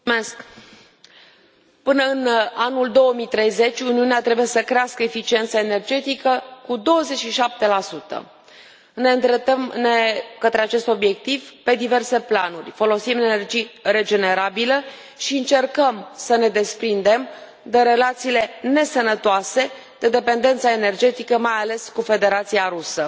Doamnă președintă, până în anul 2030 Uniunea trebuie să crească eficiența energetică cu 27. Ne îndreptăm către acest obiectiv pe diverse planuri folosim energie regenerabilă și încercăm să ne desprindem de relațiile nesănătoase, de dependența energetică mai ales cu Federația Rusă.